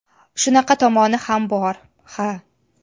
Shunaqa tomoni ham bor, ha.